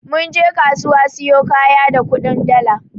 Mun je kasuwa siyo kaya da kudin dala.